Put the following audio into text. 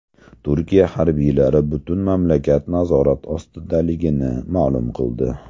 Turkiya harbiylari butun mamlakat nazorat ostidaligini ma’lum qildi.